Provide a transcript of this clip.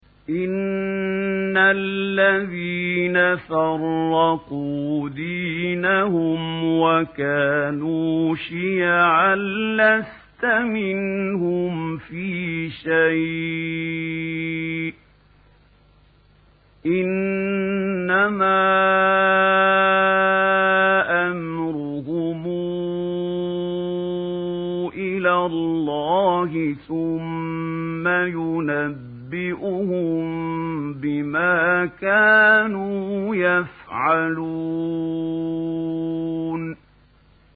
إِنَّ الَّذِينَ فَرَّقُوا دِينَهُمْ وَكَانُوا شِيَعًا لَّسْتَ مِنْهُمْ فِي شَيْءٍ ۚ إِنَّمَا أَمْرُهُمْ إِلَى اللَّهِ ثُمَّ يُنَبِّئُهُم بِمَا كَانُوا يَفْعَلُونَ